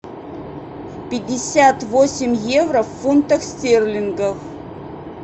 пятьдесят восемь евро в фунтах стерлингов